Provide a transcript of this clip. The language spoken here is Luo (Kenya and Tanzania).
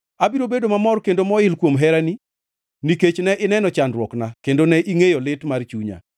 Abiro bedo mamor kendo moil kuom herani, nikech ne ineno chandruokna, kendo ne ingʼeyo lit mar chunya.